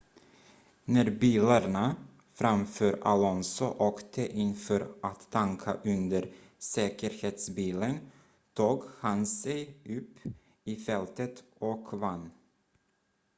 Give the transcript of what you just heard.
när bilarna framför alonso åkte in för att tanka under säkerhetsbilen tog han sig upp i fältet och vann